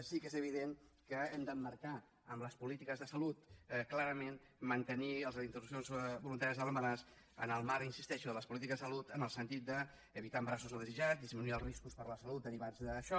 sí que és evident que hem d’emmarcar en les polítiques de salut clarament mantenir les interrupcions voluntàries de l’embaràs en el marc hi insisteixo de les polítiques de salut en el sentit d’evitar embarassos no desitjats disminuir els riscos per a la salut derivats d’això